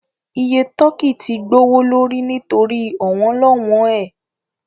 Iye tọ́kì tí gbowó lórí nítorí ọ̀wọ́n-lọ́wọn ẹ